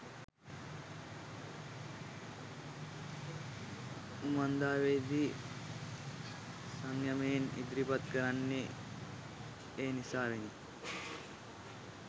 උමන්දාවේ දී සංයමයෙන් ඉදිරිපත් කරන්නේ එනිසාවෙනි.